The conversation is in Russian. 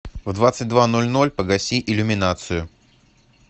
в двадцать два ноль ноль погаси иллюминацию